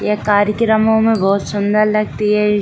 ये कार्यकर्मो में बहोत सुन्दर लगती है।